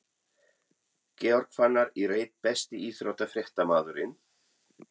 Georg Fannar í reit Besti íþróttafréttamaðurinn?